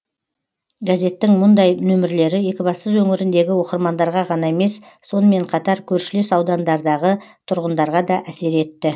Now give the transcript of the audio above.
газеттің мұндай нөмірлері екібастұз өңіріндегі оқырмандарға ғана емес сонымен қатар көршілес аудандардағы тұрғындарға да әсер етті